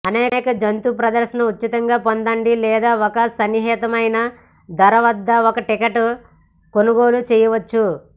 అనేక జంతుప్రదర్శన ఉచితంగా పొందండి లేదా ఒక సహేతుకమైన ధర వద్ద ఒక టికెట్ కొనుగోలు చేయవచ్చు